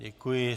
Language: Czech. Děkuji.